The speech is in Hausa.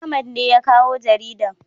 Ahmad ne ya kawo jaridan